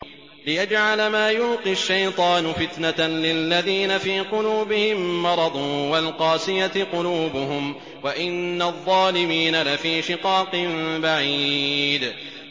لِّيَجْعَلَ مَا يُلْقِي الشَّيْطَانُ فِتْنَةً لِّلَّذِينَ فِي قُلُوبِهِم مَّرَضٌ وَالْقَاسِيَةِ قُلُوبُهُمْ ۗ وَإِنَّ الظَّالِمِينَ لَفِي شِقَاقٍ بَعِيدٍ